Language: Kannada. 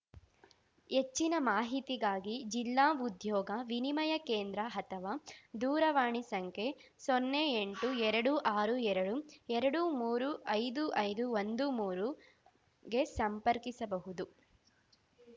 ಹೆಚ್ಚಿನ ಮಾಹಿತಿಗಾಗಿ ಜಿಲ್ಲಾ ಉದ್ಯೋಗ ವಿನಿಮಯ ಕೇಂದ್ರ ಅಥವಾ ದೂರವಾಣಿ ಸಂಖ್ಯೆ ಸೊನ್ನೆ ಎಂಟು ಎರಡು ಆರು ಎರಡು ಎರಡು ಮೂರು ಐದು ಐದು ಒಂದು ಮೂರುಗೆ ಸಂಪರ್ಕಿಸಬಹುದು